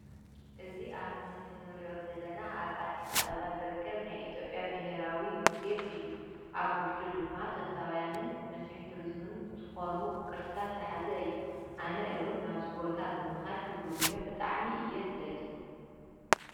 እዚ ኣብ ምስሊ ንርእዮ ዘለና ኣብ ኣዲስ ኣበባ ዝርከብ ናይ ኢትዮጵያ ብሔራዊ ሙዝየም እዩ፤ ኣብ ዉሽጡ ድማ ጥንታዉያንን መስሕብ ቱሪዝምን ዝኮኑ ቅርስታት ዝሓዘ እዩ:: ኣነ ዉን ናብ ዚ ቦታ ብምካድ ክጉብንዮ ብጣዕሚ እየ ዝደሊ።